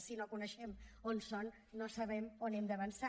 si no coneixem on són no sabem cap on hem d’avançar